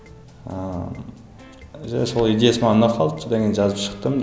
ыыы иә сол идеясы маған ұнап қалды содан кейін жазып шықтым